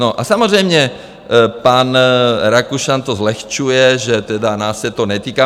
No a samozřejmě pan Rakušan to zlehčuje, že tedy nás se to netýká.